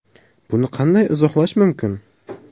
Buni qanday izohlash mumkin?